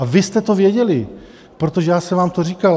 A vy jste to věděli, protože já jsem vám to říkal.